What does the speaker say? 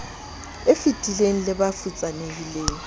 e fetileng le ba futsanehileng